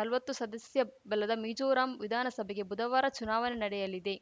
ನಲ್ವತ್ತು ಸದಸ್ಯಬಲದ ಮಿಜೋರಾಂ ವಿಧಾನಸಭೆಗೆ ಬುಧವಾರ ಚುನಾವಣೆ ನಡೆಯಲಿದೆ